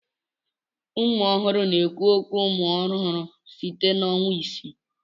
Ụmụ ọhụrụ na-ekwu okwu umụ ọhụrụ site na ọnwa isii.